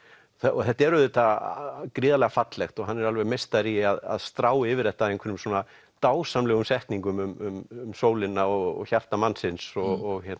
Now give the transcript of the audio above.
og þetta er auðvitað gríðarlega fallegt og hann er alveg meistari í að strá yfir þetta einhverjum svona dásamlegum setningum um sólina og hjarta mannsins og